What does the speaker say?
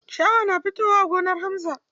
Ciyawa na fitowa a gonar Hamza.